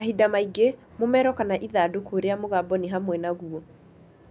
Mahinda mangĩ, mũmero kana ithandũkũ rĩa mũgambo nĩ hamwe naguo.